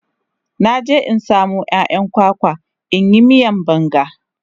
Na je in samo 'ya'yan kwakwa in yi miyan banga.